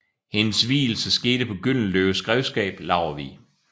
Hendes vielsen skete på Gyldenløves grevskab Laurvig